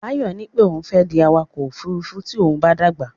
Báyọ̀ ní pé òun fẹ́ di awakọ̀ ófurufú tí òun bá dàgbà.